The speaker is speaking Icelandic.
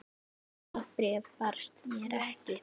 Það bréf barst mér ekki!